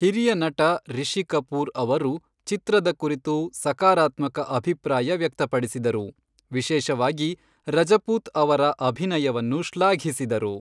ಹಿರಿಯ ನಟ ರಿಷಿ ಕಪೂರ್ ಅವರು ಚಿತ್ರದ ಕುರಿತು ಸಕಾರಾತ್ಮಕ ಅಭಿಪ್ರಾಯ ವ್ಯಕ್ತಪಡಿಸಿದರು, ವಿಶೇಷವಾಗಿ ರಜಪೂತ್ ಅವರ ಅಭಿನಯವನ್ನು ಶ್ಲಾಘಿಸಿದರು.